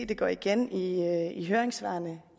det går igen i i høringssvarene